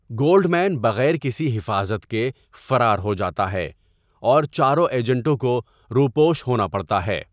Goldman بغیر کسی حفاظت کے فرار ہوجاتا ہے، اور چاروں ایجنٹوں کو روپوش ہونا پڑتا ہے۔